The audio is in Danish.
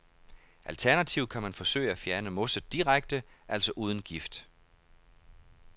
Alternativt kan man forsøge at fjerne mosset direkte, altså uden gift.